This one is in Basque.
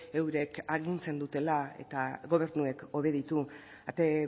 eurek agintzen dutela eta gobernuek obeditu ate